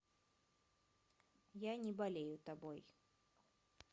я не болею тобой